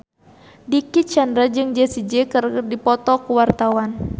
Dicky Chandra jeung Jessie J keur dipoto ku wartawan